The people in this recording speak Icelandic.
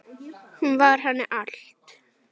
Hún var henni allt.